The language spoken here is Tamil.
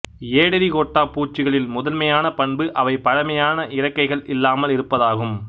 ஏடெரிகோட்டா பூச்சிகளின் முதன்மையான பண்பு அவை பழமையான இறக்கைகள் இல்லாமல் இருப்பதாகும்